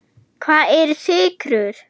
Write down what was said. Hvað eru sykrur?